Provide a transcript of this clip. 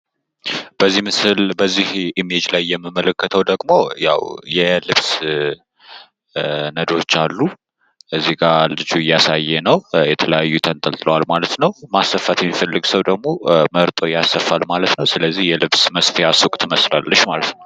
በዚህ ምስል ላይ የምንመለከተው ደግሞ ያው የልብስ ነዶ አሉ። እዚህ ጋር ልጁ እያሳየ ነው የተለያዩ ነዶዎች ተንጠልጥለዋል ማለት ነው ስለዚህ ማሰፋት የሚፈልግ ሰው ደግሞ መርጦ ያሰፋል ማለት ነው። ስለዚህ የልብስ መስፊያ ሱቅ ትመስላለች ማለት ነው።